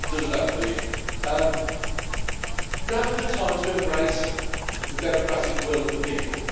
I think it does that for you. Now is the time to embrace the democratic will of the people.